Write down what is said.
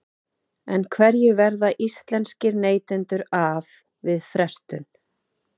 En hverju verða íslenskir neytendur af við frestun?